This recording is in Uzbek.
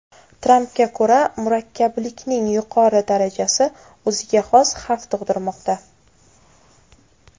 Trampga ko‘ra, murakkablikning yuqori darajasi o‘ziga xos xavf tug‘dirmoqda.